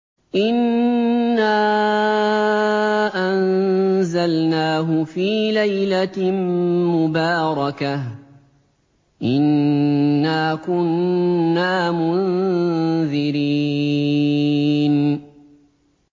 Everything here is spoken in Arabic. إِنَّا أَنزَلْنَاهُ فِي لَيْلَةٍ مُّبَارَكَةٍ ۚ إِنَّا كُنَّا مُنذِرِينَ